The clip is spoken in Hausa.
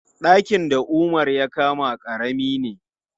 Ɗakin da Umar ya kama ƙarami ne.